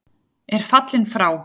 er fallinn frá.